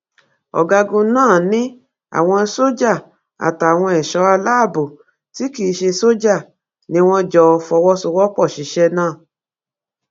ọgágun náà ni àwọn sójà àtàwọn ẹṣọ aláàbọ tí kì í ṣe sójà ni wọn jọ fọwọsowọpọ ṣiṣẹ náà